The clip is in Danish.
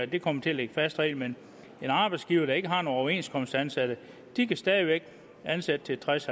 det kommer til at ligge fast heri men en arbejdsgiver der ikke har nogen overenskomstansatte kan stadig væk ansætte til tres